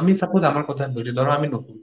আমি suppose আমার কথাই বলছি ধরো আমি নতুন,